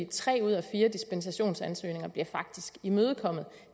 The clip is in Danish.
tre ud af fire dispensationsansøgninger bliver faktisk imødekommet